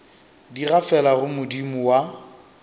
di gafela go modimo wa